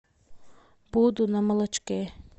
буду на молочке